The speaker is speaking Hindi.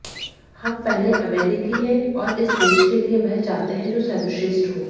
हम पहले अमेरिकी हैं और इस देश के लिए वह चाहते हैं जो सर्वश्रेष्ठ हो